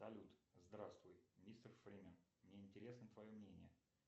салют здравствуй мистер фримен мне интересно твое мнение